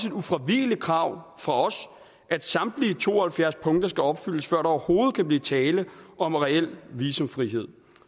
et ufravigeligt krav fra os at samtlige to og halvfjerds punkter skal opfyldes før der overhovedet kan blive tale om reel visumfrihed